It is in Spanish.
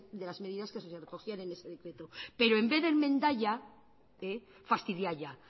de las medidas que se recogían en ese decreto pero en vez de enmendalla fastidialla